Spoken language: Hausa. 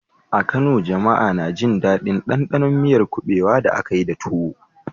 A Kano, jama'a na jin daɗin ɗanɗanon miyar kubewa da aka yi da tuwo.